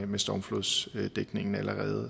med stormflodsdækningen